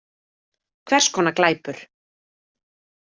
Hvers konar glæpur?